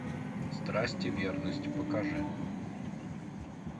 страсть и верность покажи